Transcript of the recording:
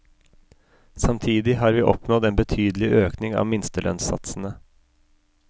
Samtidig har vi oppnådd en betydelig økning av minstelønnssatsene.